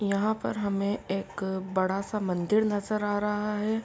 यहा पर हमें एक बड़ा सा मंदिर नजर आ रहा है।